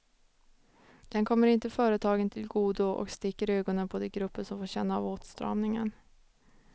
Den kommer inte företagen till godo och sticker i ögonen på de grupper som får känna av åtstramningen.